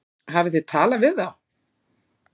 Hafið þið talað við þá?